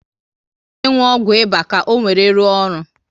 Ị ga adi uchu n'inwu ọgwụ ịba ka owere ruo ọrụ